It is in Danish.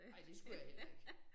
Ej det skulle jeg heller ikke